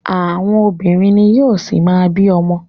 Àwọn obìnrin ni yóò ṣi má bí ọmọ.